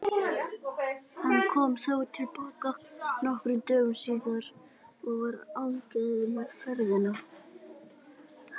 Hann kom þó til baka nokkrum dögum síðar og var ánægður með ferðina.